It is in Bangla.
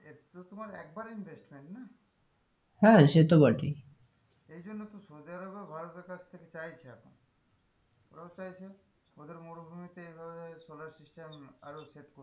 এগুলো তোমার একবারে investment না হ্যাঁ সে তো বটেই এইজন্য তো সৌদিআরব ও ভারতের কাছথেকে চাইছে এখন আরও চাইছে ওদের মরুভূমিতে এভাবে solar system আরও